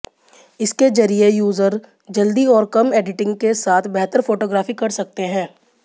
इसके जरिए यूजर जल्दी और कम एडिटिंग के साथ बेहतर फोटोग्राफी कर सकते हैं